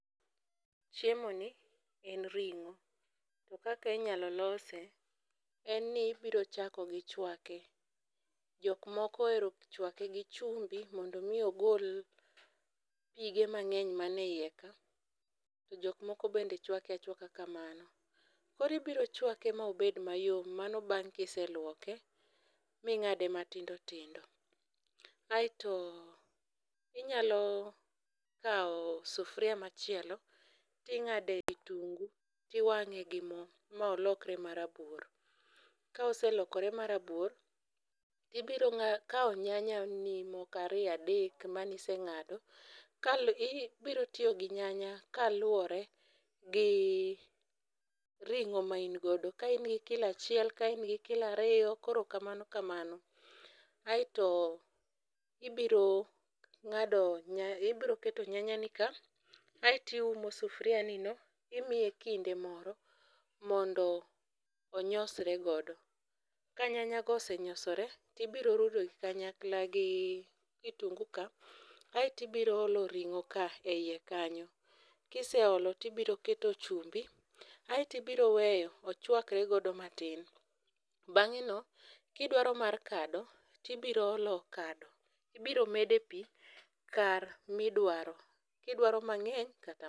Chiemoni en ringo. To kaka inyalo lose, en ni ibiro chako gi chwake. Jok moko ohero chwake gi chumbi mondo mi ogol pige mang'eny ma ne iyeka. To jok moko bende chwake achwaka kamano. Koro ibiro chwake ma obed mayom mano bang' kise luoke, ming'ade matindo tindo. Aeto inyalo kawo sufria machielo, ting'ade kitungu, tiwang'egi mo ma olokre ma rabuor. Ka oselokore marabuor, tibiro kawo nyanya ni moko ariyo, adek maniseng'ado, kal biro tiyo ginyanya kaluwore gi ringo main godo. Ka in gi kilo achiel, ka in gi kilo ariyo koro kamano kamano. Aeto ibiro ng'ado nyany, ibiro keto nyanya ni ka, aeto iumo sufria ni no, imiye kinde moro mondo onyosore godo. Ka nyanya go osenyosore, tibiro rudo kanyakla gi kitungu ka, aeto ibiro olo ringo ka e iye kanyo. Kise olo, tibiro keto chumbi, aeto ibiro weyo ochwakre godo matin. Bang'e no, kidwaro mar kado, tibiro olo kado. Ibiro mede pi kar midwaro, kidwaro mang'eny, kata.